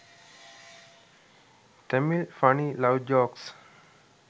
tamil funny love jokes